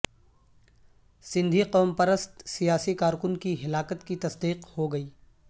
سندھی قوم پرست سیاسی کارکن کی ہلاکت کی تصدیق ہوگئی